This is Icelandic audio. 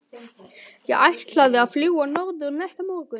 Ég ætlaði að fljúga norður næsta morgun.